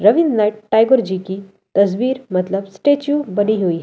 रवींद्र टाकुर जी की तस्वीर मतलब स्टैचू बनी हुई है।